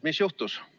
Mis juhtus?